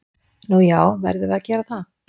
Nú já, verðum við að gera það?